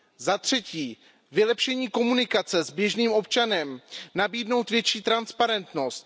Za třetí, vylepšení komunikace s běžným občanem, nabídnutí větší transparentnost.